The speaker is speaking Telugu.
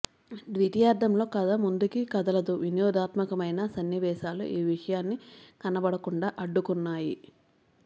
ద్వితీయార్ధంలో కథ ముందుకి కదలదు వినోదాత్మకమయిన సన్నివేశాలు ఈ విషయాన్ని కనపడకుండా అడ్డుకున్నాయి